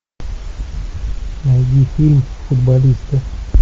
найди фильм футболисты